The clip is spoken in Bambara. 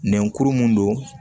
Nɛkuru mun don